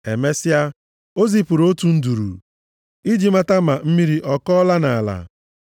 Emesịa, o zipụrụ otu nduru iji mata ma mmiri ọ kọọla nʼala,